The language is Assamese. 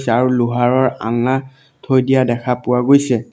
ছে আৰু লোহাৰৰ আলনা থৈ দিয়া দেখা পোৱা গৈছে।